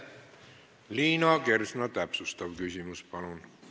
Liina Kersna, täpsustav küsimus, palun!